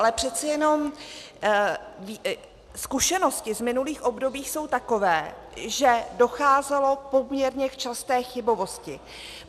Ale přece jenom zkušenosti z minulých období jsou takové, že docházelo poměrně k časté chybovosti.